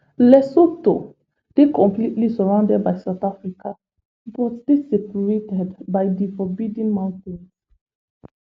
lesotho dey completely surrounded by south africa but dey separated by di forbidding mountain